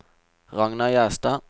Ragna Gjerstad